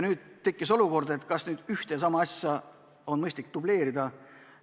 Nüüd tekkis küsimus, kas ühte ja sama asja on mõistlik dubleerida.